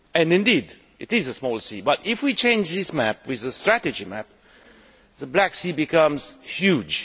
Indeed it is, but if we exchange this map for a strategy map, the Black Sea becomes huge.